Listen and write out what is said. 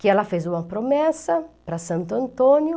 Que ela fez uma promessa para Santo Antônio.